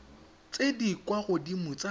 tse di kwa godimo tsa